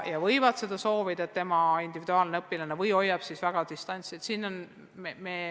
Nad võivad soovida, et õpilane kannaks maski, või hoiavad siis väga distantsi.